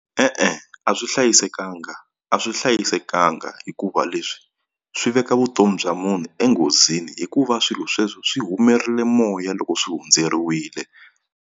E-e a swi hlayisekanga a swi hlayisekanga hikuva leswi swi veka vutomi bya munhu enghozini hikuva swilo sweswo swi humerile moya loko swi hundzeriwile.